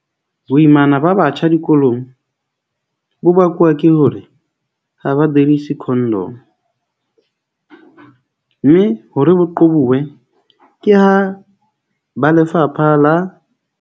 Boimana ba batjha dikolong bo bakuwa ke hore ha ba derise condom-o. Mme hore bo qobowe ke ha ba lefapha la.